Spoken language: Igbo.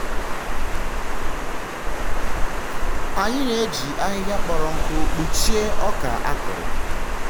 anyị na-eji ahịhịa kpọrọ nkụ kpuchie ọka a kụrụ.